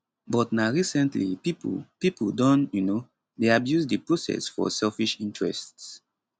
but na recently pipo pipo don um dey abuse di process for selfish interests